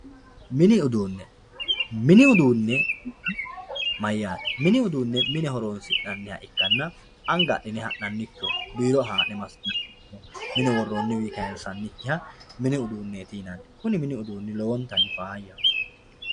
mini uduunne mini uduunne mayyat mini uduunne mine horonsi'nanniha ikkanna anga adhine ha'nannikkiho biiro haa'ne massinannikkiho mine worroonniwiinni kayiinsannikkiha mini uduunneeti yinanni kuni mini uduunni lowontanni faayyaho.